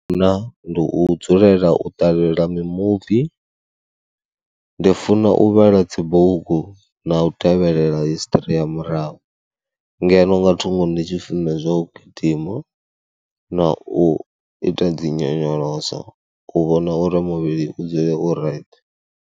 Hu na, ndi u dzulela u ṱalela mimuvi, ndi funa u vhala dzibugu na u tevhelela hisiṱiri ya murahu ngeno nga thungo ndi tshi funa zwa u gidima na u ita dzi nyonyoloso u vhona uri muvhili u dzule u right.